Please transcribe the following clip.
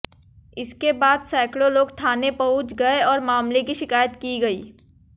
इसके बाद सैकड़ों लोग थाने पहुंच गए और मामले की शिकायत की गई